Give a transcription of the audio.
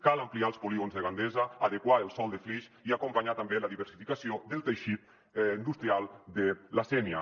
cal ampliar els polígons de gandesa adequar el sòl de flix i acompanyar també la diversificació del teixit in·dustrial de la sénia